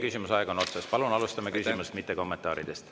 Palun alustame küsimusest, mitte kommentaaridest.